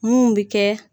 Mun bi kɛ